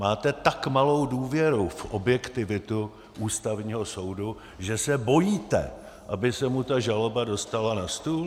Máte tak malou důvěru v objektivitu Ústavního soudu, že se bojíte, aby se mu ta žaloba dostala na stůl?